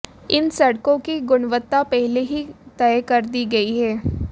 इन सड़कों की गुणवत्ता पहले ही तय कर दी गई है